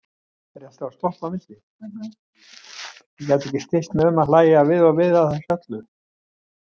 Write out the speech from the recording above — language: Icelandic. Og ég gat ekki stillt mig um að hlægja við og við að þessu öllu.